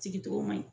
Sigi cogo man ɲi